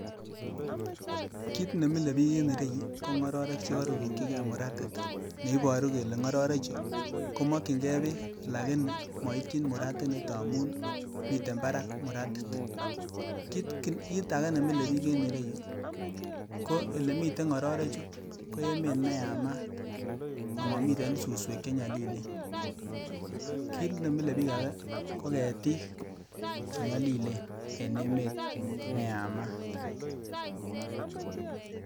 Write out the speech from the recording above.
Kit nemile biik en ireyu ko ng'ororek chekorurukyike muratit neiboru kele ng'ororechu komokyinge beek lakini moityin muratinito amun miten parak muratit, kit ake nemile biik en ireyu ko elemiten ng'ororechu ko emet neyamat omomiten suswek chenyolilen, kit nemile biik ake ko ketik chenyolilen en emet neyamat.